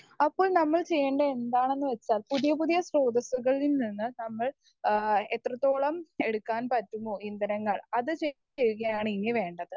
Speaker 1 അപ്പോൾ നമ്മൾ ചെയ്യേണ്ടത് എന്താണെന്നുവെച്ചാൽ പുതിയ പുതിയ സ്രോതസുകളിൽ നിന്ന് നമ്മൾ ഏഹ് എത്രത്തോളം എടുക്കാൻ പറ്റുമോ ഇന്ധനങ്ങൾ അത് ചെ ചെയ്യുകയാണ് ഇനി വേണ്ടത്.